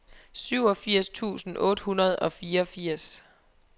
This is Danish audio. syvogfirs tusind otte hundrede og fireogfirs